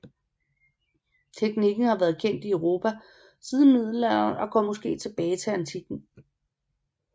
Teknikken har været kendt i Europa siden middelalderen og går måske tilbage til antikken